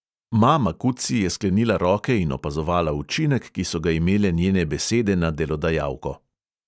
Ma makutsi je sklenila roke in opazovala učinek, ki so ga imele njene besede na delodajalko.